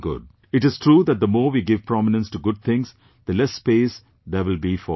It is true that the more we give prominence to good things, the less space there will be for bad things